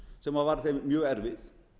sem var þeim mjög erfið